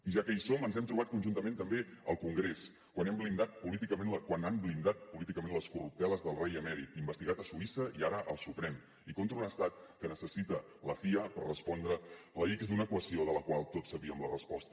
ja que hi som ens hem trobat conjuntament també al congrés quan han blindat políticament les corrupteles del rei emèrit investigat a suïssa i ara al suprem i contra un estat que necessita la cia per respondre la ics d’una equació de la qual tots sabíem la resposta